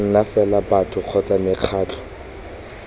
nna fela batho kgotsa mekgatlho